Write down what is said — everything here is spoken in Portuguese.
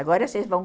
Agora vocês vão.